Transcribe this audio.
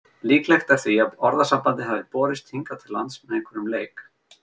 Líklegt er því að orðasambandið hafi borist hingað til lands með einhverjum leik.